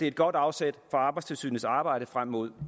et godt afsæt for arbejdstilsynets arbejde frem mod